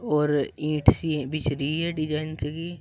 और ईट सी बिछ रही हैं डिजाइन सी।